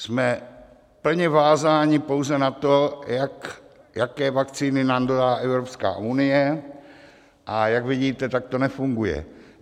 Jsme plně vázáni pouze na to, jaké vakcíny nám dodá Evropská unie, a jak vidíte, tak to nefunguje.